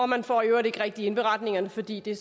man får i øvrigt ikke rigtig indberetningerne fordi det